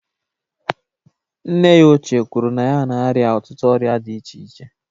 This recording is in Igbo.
Nne ya ochie kwuru na ya na-arịa ọtụtụ ọrịa dị iche iche